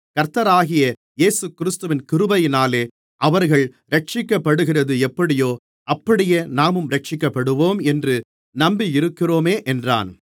கர்த்தராகிய இயேசுகிறிஸ்துவின் கிருபையினாலே அவர்கள் இரட்சிக்கப்படுகிறது எப்படியோ அப்படியே நாமும் இரட்சிக்கப்படுவோம் என்று நம்பியிருக்கிறோமே என்றான்